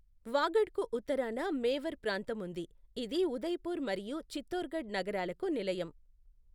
వాగడ్కు ఉత్తరాన మేవార్ ప్రాంతం ఉంది, ఇది ఉదయపూర్ మరియు చిత్తోర్ఘడ్ నగరాలకు నిలయం.